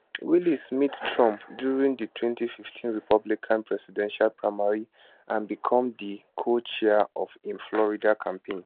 wiles meet trump during di 2015 republican presidential primary and become di cochair of im florida campaign